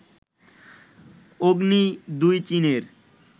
অগ্নি ২ চীনের